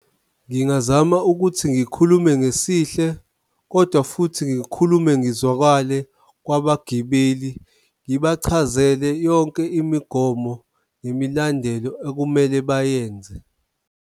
Ngingazama ukuthi ngikhulume ngesihle, kodwa futhi ngikhulume ngizwakale kwabagibeli, ngibachazele yonke imigomo nemibandela okumele bayenze.